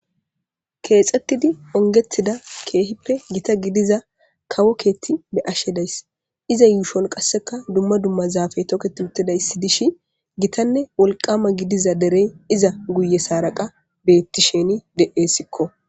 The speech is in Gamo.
Khetsidda ongetidda kehippe gitta gidiza kawo ketti baashe dayis. Eza yushuwan qashqa duma duma zaafe toketti utidaysi dishin gitta wolqama gidiza derey eza guyyassara qa beethshe de'esko.